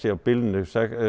á bilinu